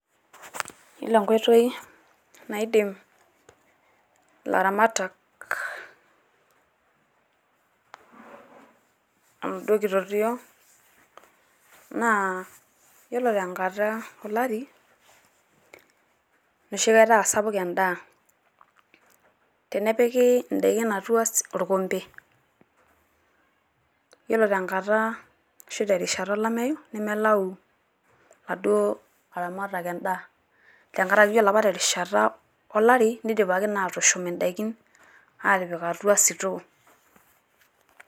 Yiolo enkoitoi naidim ilaramatak enaduo kitotio naa yiolo te nkata olari enoshi kata aa sapuk endaa. Tenepiki indaikin atua orkempe yiolo tenkata arashu terishata olameyu nemelau laduo laramatak endaa, tenkaraki ore apa terishata olari neidipaki naa atushum indaiki aatipik atua store.